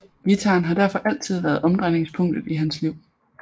Guitaren har derfor altid været omdrejningspunktet i hans liv